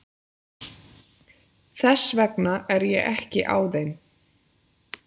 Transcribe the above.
Þess vegna er ég ekki á þeim.